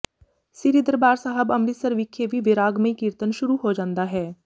ਸ੍ਰੀ ਦਰਬਾਰ ਸਾਹਿਬ ਅੰਮ੍ਰਿਤਸਰ ਵਿਖੇ ਵੀ ਵੈਰਾਗਮਈ ਕੀਰਤਨ ਸ਼ੁਰੂ ਹੋ ਜਾਂਦਾ ਹੈ